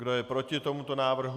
Kdo je proti tomuto návrhu?